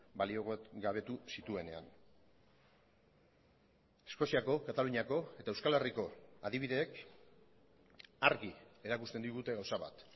baliogabetu zituenean eskoziako kataluniako eta euskal herriko adibideek argi erakusten digute gauza bat